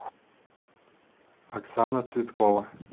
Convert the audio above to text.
оксана цветкова